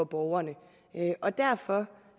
borgerne og derfor